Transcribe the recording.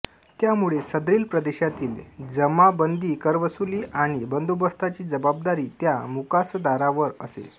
त्यामुळे सदरील प्रदेशातील जमाबंदीकरवसुली आणि बंदोबस्ताची जबाबदारी त्या मुकासदारावर असे